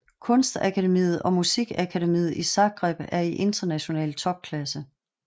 Kunstakademiet og musikakademiet i Zagreb er i international topklasse